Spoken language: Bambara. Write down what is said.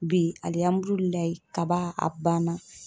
Bi kaba a banna.